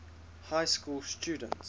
high school students